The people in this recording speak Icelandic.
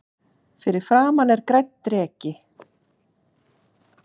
Fyrir framan er grænn dreki.